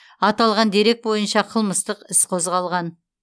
аталған дерек бойынша қылмыстық іс қозғалған